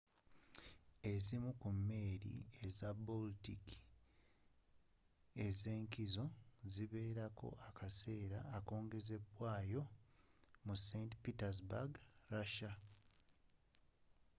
ezimu ku meeri za baltic ez'enkizo ziberako akaseera akongezedwayo mu st petersburg russia